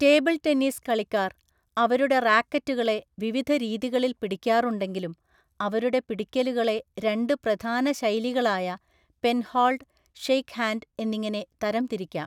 Table tennis കളിക്കാർ അവരുടെ റാക്കറ്റുകളെ വിവിധ രീതികളിൽ പിടിക്കാറുണ്ടെങ്കിലും അവരുടെ പിടിക്കലുകളെ രണ്ട് പ്രധാന ശൈലികളായ പെൻഹോൾഡ്, ഷേക്ക്ഹാൻഡ് എന്നിങ്ങനെ തരംതിരിക്കാം.